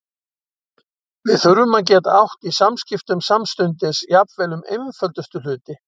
Við þurftum að geta átt í samskiptum samstundis, jafnvel um einföldustu hluti.